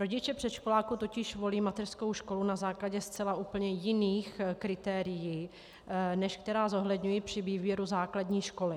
Rodiče předškoláků totiž volí mateřskou školu na základě zcela úplně jiných kritérií, než která zohledňují při výběru základní školy.